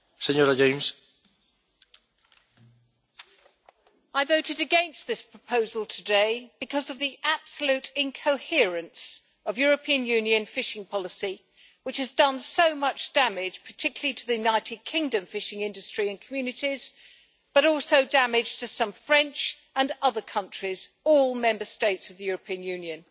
Mr President, I voted against this proposal today because of the absolute incoherence of European Union fishing policy, which has done so much damage, particularly to the United Kingdom's fishing industry and communities, but also to those of France and other countries all Member States of the European Union.